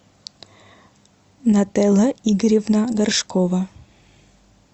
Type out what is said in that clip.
нателла игоревна горшкова